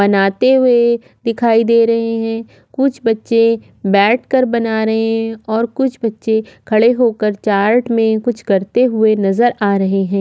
बनाते हुए दिखाई दे रहे है कुछ बच्चे बैठकर बना रहे है और कुछ बच्चे खड़े होकर चार्ट में कुछ करते हुए नज़र आ रहे है।